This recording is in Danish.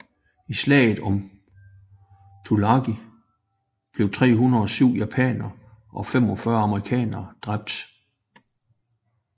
I slaget om Tulagi blev 307 japanere og 45 amerikanere dræbt